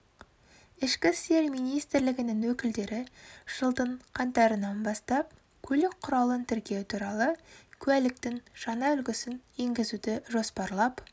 ішкі істер министрлігінің өкілдері жылдың қаңтарынан бастап көлік құралын тіркеу туралы куәліктің жаңа үлгісін енгізуді жоспарлап